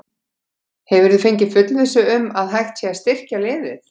Hefurðu fengið fullvissu um að hægt sé að styrkja liðið?